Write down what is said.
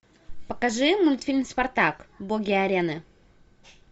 покажи мультфильм спартак боги арены